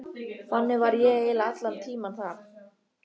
Þannig var ég eiginlega allan tímann þar.